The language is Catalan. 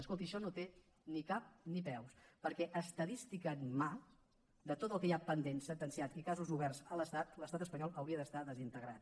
escolti això no té ni cap ni peus perquè estadística en mà de tot el que hi ha pendent sentenciat i casos oberts a l’estat l’estat espanyol hauria d’estar desintegrat